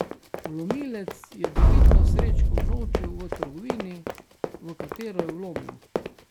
Vlomilec je dobitno srečko unovčil v trgovini, v katero je vlomil.